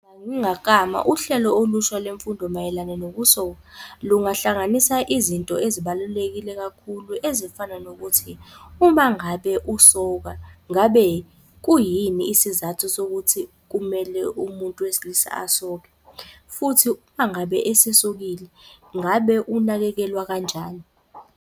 Uma ngangingaklama uhlelo olusha lwemfundo mayelana nokusoka, lungahlanganisa izinto ezibalulekile kakhulu ezifana nokuthi, uma ngabe usoka ngabe kuyini isizathu sokuthi kumele umuntu wesilisa asoke? Futhi uma ngabe esesokile, ngabe unakekelwa kanjani?